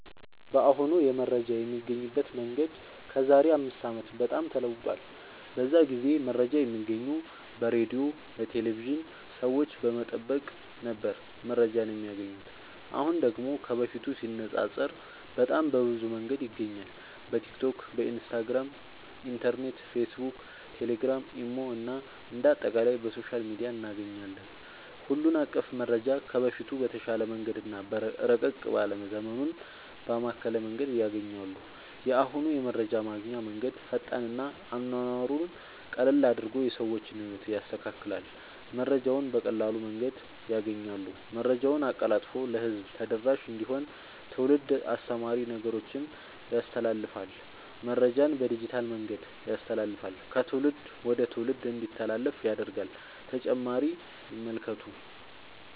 በአሁኑ የመረጃ የሚገኝበት መንገድ ከዛሬ አምስት አመት በጣም ተለውጧል። በዛ ጊዜ መረጃ የሚገኘው በሬድዮ፣ በቴሌቭዥን፣ ሰዎች በመጠየቅ ነበር መረጃን የማያገኙት። አሁን ደግሞ ከበፊቱ ሲነፃፀር በጣም በብዙ መንገድ ይገኛል በቲክቶክ፣ ኢንስታግራም፣ ኢንተርኔት፣ ፌስብክ፣ ቴሌግራም፣ ኢሞ እና አንደ አጠቃላይ በሶሻል ሚዲያ እናገኛለን ሁሉን አቀፍ መረጃ ከበፊቱ በተሻለ መንገድ እና ረቀቅ ባለ ዘመኑን ባማከለ መንገድ ያገኛሉ። የአሁኑ የመረጃ ማግኛ መንገድ ፈጣን እና አኗኗሩን ቀለል አድርጎ የሰዎችን ህይወት ያስተካክላል መረጃውን በቀላል መንገድ ያገኛሉ። መረጃን አቀላጥፎ ለህዝብ ተደራሽ እንዲሆን ትውልድ አስተማሪ ነገሮችን ያስተላልፍል። መረጃን በዲጂታል መንገድ ያስተላልፍል ከትውልድ ወደ ትውልድ እንዲተላለፍ ያደርጋል…ተጨማሪ ይመልከቱ